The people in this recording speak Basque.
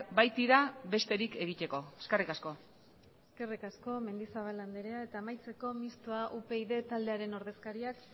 baitira besterik egiteko eskerrik asko eskerrik asko mendizabal anderea eta amaitzeko mistoa upyd taldearen ordezkariak